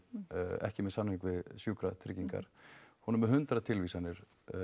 ekki með samning við sjúkratryggingar hún er með hundrað tilvísanir